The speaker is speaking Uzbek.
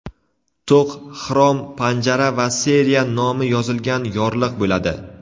to‘q xrom panjara va seriya nomi yozilgan yorliq bo‘ladi.